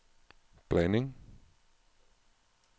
blanding